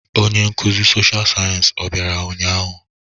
Onye nkuzi sọsha sayensị ọ bịara ụnyahụ?